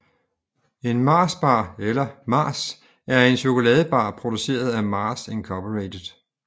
En Mars bar eller Mars er en chokoladebar produceret af Mars Incorporated